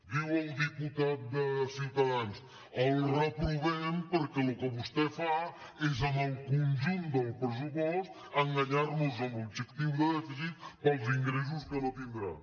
diu el diputat de ciutadans el reprovem perquè el que vostè fa és amb el conjunt del pressupost enganyarnos amb l’objectiu de dèficit pels ingressos que no tindrà